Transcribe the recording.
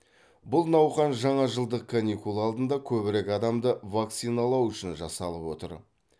бұл науқан жаңажылдық каникул алдында көбірек адамды вакциналау үшін жасалып отыр